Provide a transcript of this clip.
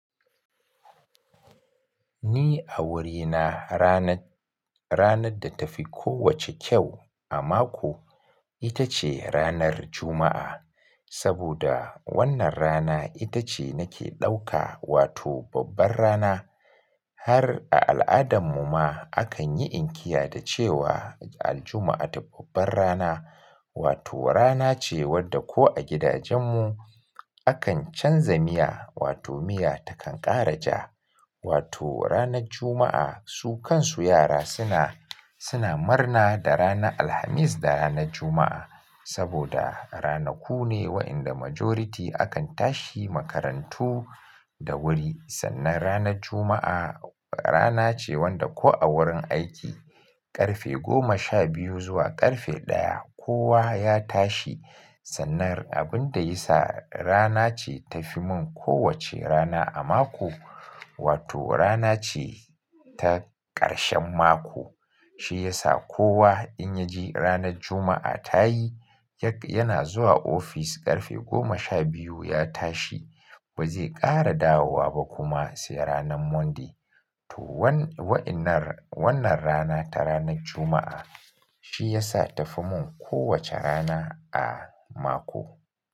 Ni a wurina rana, ranar da ta fi kowacce kyau a mako ita ce ranar Juma'a. Saboda wannan rana ita ce nake ɗauka wato babbar rana. Har a al'adarmu ma akan yi inkiya da cewa aljuma'atu babbar rana. Wato rana ce wadda ko a gidajen mu akan canza miya wato miya takan ƙara ja. Wato ranar Juma'a su kansu yara suna, suna marna da ranar Alhamis da ranar Juma'a. Saboda ranaku ne wa'inda majority akan tashi makarantu da wuri. Sannan ranar Juma'a rana ce wadda ko a wurin aiki ƙarfe goma sha biyu zuwa ƙarfe ɗaya kowa ya tashi. Sannan abin da ya sa rana ce ta fi mun kowacce rana a mako, wato rana ce ta ƙarshen mako. Shi ya sa kowa in ya ji ranar Juma'a ta yi, ya, yana zuwa ofis ƙarfe goma sha biyu ya tashi ba zai ƙara dawowa ba kuma sai ranan Monday. To wa'innan, wannan rana ta ranar Juma'a shi ya sa ta fi mun kowacce rana a mako.